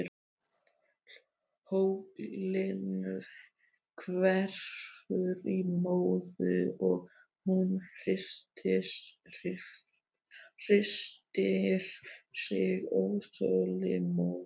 Hóllinn hverfur í móðu og hún hristir sig óþolinmóð.